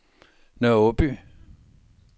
Nørre Aaby